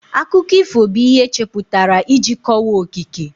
Akụkọ ifo bụ ihe echepụtara iji kọwaa okike